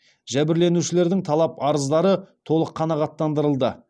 жәбірленушілердің талап арыздары толық қанағаттандырылды